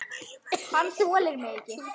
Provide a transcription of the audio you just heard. Hann þolir mig ekki.